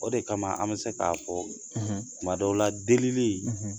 O de kama an bɛ se k'a fɔ tuma dɔw la delili